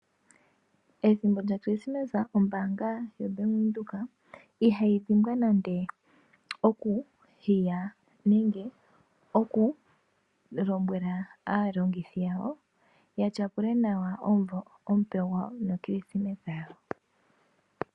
Ethimbo lyo krismesa ombaanga yaVenduka ihayi dhimbwa nande oku hiya nenge oku lombwela aayakulwa yawo yatyapule nawa omumvo no krismesa yawo.